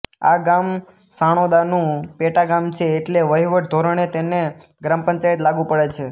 આ ગામ સાણોદાનું પેટાગામ છે એટલે વહિવટી ધોરણે તેને ગ્રામ પંચાયત લાગુ પડે છે